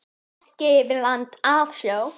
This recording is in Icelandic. Ekki eigum við land að sjó.